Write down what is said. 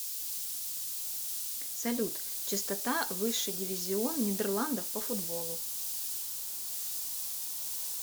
салют частота высший дивизион нидерландов по футболу